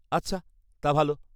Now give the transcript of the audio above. -আচ্ছা, তা ভালো।